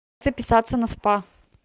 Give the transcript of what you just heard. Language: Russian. записаться на спа